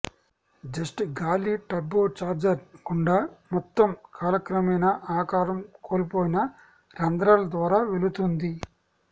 just గాలి turbocharger గుండా మొత్తం కాలక్రమేణా ఆకారం కోల్పోయిన రంధ్రాల ద్వారా వెళుతుంది